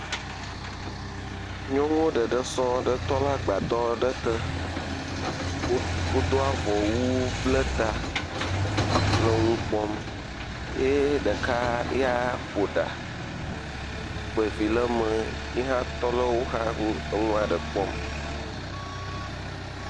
Nyɔnuwo ɖeɖe tɔ ɖe agbadɔ aɖe te, wodo avɔwu bla ta le nu kpɔm eye ɖeka ya ƒo ɖa kpa vi ɖe eme, yi hã tɔ ɖe woxa le nua ɖe kpɔm.